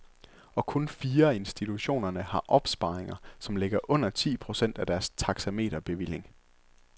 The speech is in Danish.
Og kun fire af institutionerne har opsparinger, som ligger under ti procent af deres taxameterbevilling.